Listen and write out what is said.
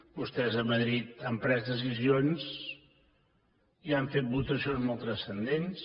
vostès a madrid han pres decisions i han fet votacions molt transcendents